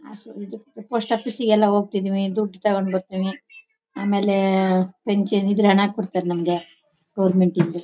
ಹ ಸರ್ ಇದು ಪೋಸ್ಟಾಫೀಸಿ ಗೆಲ್ಲ ಹೋಗ್ತಿದೀವಿ ದುಡ್ಡು ತಗೊಂಡು ಬರ್ತಿವಿ. ಆಮೇಲೆ ಪೆನ್ಷನ್ ಇದ್ರೆ ಹಣ ಕೊಡ್ತಾರೆ ನಮ್ಗೆ ಗೌರ್ಮೆಂಟ್ ಇಂದ --